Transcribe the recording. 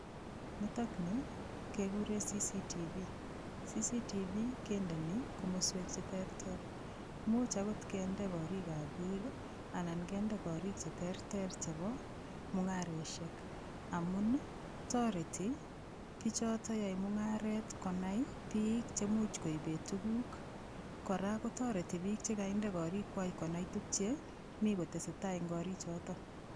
Nitokni kekure CCTV CCTV kendeni komoswek cheterter muuch akot kende korikab biik anan kende korik cheterter chebo mung'areshek amun toreti bichoto yoei mung'aret konai biik chemuuch koibei tukuk kora kotoreti biik chekaide korikwach konai tukche mi kotesei tai eng' korichoto